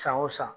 San o san